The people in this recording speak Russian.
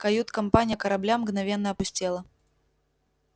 кают-компания корабля мгновенно опустела